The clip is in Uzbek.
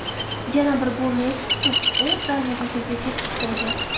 Yana bir golni esa Kuk o‘z darvozasiga kiritib qo‘ydi.